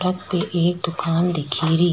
अठे एक दुकान दीखेरी।